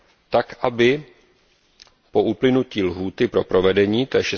tak, aby po uplynutí lhůty pro provedení, tj.